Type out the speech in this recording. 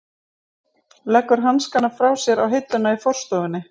Leggur hanskana frá sér á hilluna í forstofunni.